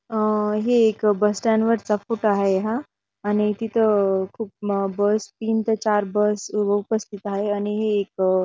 अह हे एक बस स्टँड वरचा हाये हा आणि तिथ अह खूप बस तीन ते चार बस उपस्थित हाये आणि हे एक अ --